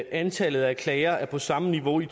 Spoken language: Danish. antallet af klager er på samme niveau i